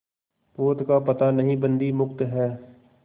पोत का पता नहीं बंदी मुक्त हैं